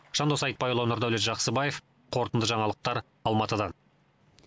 жандос айтбайұлы нұрдәулет жақсыбаев қорытынды жаңалықтар алматыдан